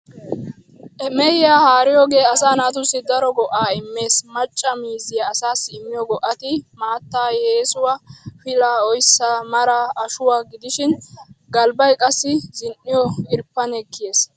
Mehiyaa haariyoogee asaa naatussi daro go''aa immees. Macca miizziyaa asaassi immiyoo go''ati, maataa, yeesuwaa, pilaa, oyssaa, maraa, ashuwaa gidishin, galbbay qassi zin''iyoo irppanee kiyees.